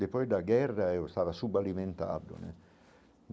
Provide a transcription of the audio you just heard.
Depois da guerra eu estava subalimentado né.